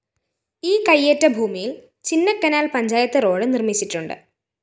ഈ കയ്യേറ്റ ഭൂമിയില്‍ ചിന്നക്കനാല്‍ പഞ്ചായത്ത് റോഡ്‌ നിര്‍മ്മിച്ചിട്ടുണ്ട്